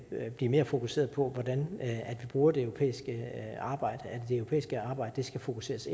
at blive mere fokuseret på hvordan vi bruger det europæiske arbejde det europæiske arbejde skal fokuseres